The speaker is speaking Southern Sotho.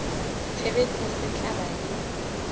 tshebetso se tla ba le